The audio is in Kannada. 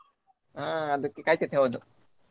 ಹಾ ಅದಕ್ಕೆ ಕಾಯಿ ಚಟ್ನಿ ಹೌದು.